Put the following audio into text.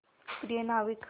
प्रिय नाविक